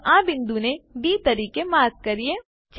ચાલો આ બિંદુને ડી તરીકે માર્ક કરીએ